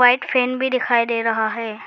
White fan भी दिखाई दे रहा है।